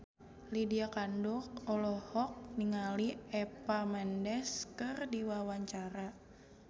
Lydia Kandou olohok ningali Eva Mendes keur diwawancara